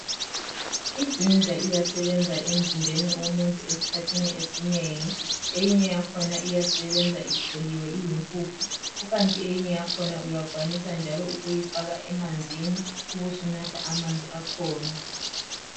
IGinger iyasebenza kakhulu emzimbeni womuntu esikhathini esinengi .Eyinye yakhona iyasebenza icholiwe iyimpuphu kukanti eyinye yakhona uyakwanisa njalo ukuyifaka emanzini ubusunatha amanzi akhona .